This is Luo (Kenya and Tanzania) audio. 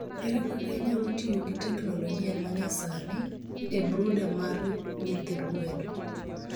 Ere kaka inyalo tiyo gi teknoloji ma nyasani e brooder mar nyithi gwen?